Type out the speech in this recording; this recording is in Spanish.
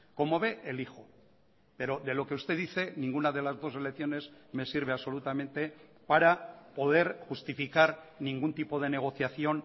como ve elijo pero de lo que usted dice ninguna de las dos elecciones me sirve absolutamente para poder justificar ningún tipo de negociación